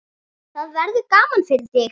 Það verður gaman fyrir þig.